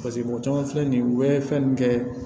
paseke mɔgɔ caman filɛ nin ye u be fɛn nunnu kɛ